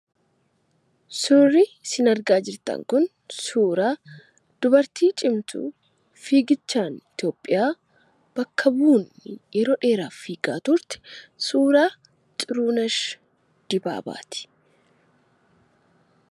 Suurri isin argaa jirtan kun suuraa dubartii cimtuu fiigichaan Itoophiyaa bakka buutee yeroo dheeraaf fiigaa turte suuraa Xirunesh Dibaabaati.